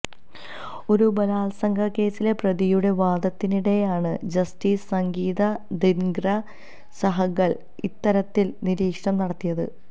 ഒരു ബലാത്സംഗക്കേസിലെ പ്രതിയുടെ വാദത്തിനിടെയാണ് ജസ്റ്റിസ് സംഗീത ദിങ്ര സഹ്ഗല് ഇത്തരത്തില് നിരീക്ഷണം നടത്തിയത്